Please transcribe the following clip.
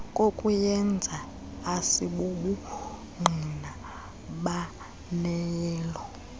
kokuyenza asibobungqina baneleyo